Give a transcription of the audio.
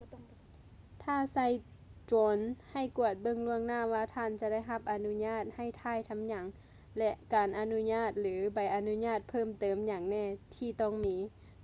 ຖ້າໃຊ້ໂດຣນໃຫ້ກວດເບິ່ງລ່ວງໜ້າວ່າທ່ານຈະໄດ້ຮັບອະນຸຍາດໃຫ້ຖ່າຍທຳຫຍັງ ແລະ ການອະນຸຍາດ ຫຼື ໃບອະນຸຍາດເພີ່ມເຕີມຫຍັງແນ່ທີ່ຕ້ອງມີ